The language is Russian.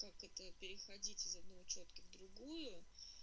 как это переходить из одной у чётки в другую